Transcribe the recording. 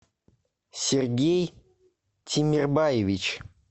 сергей тимербаевич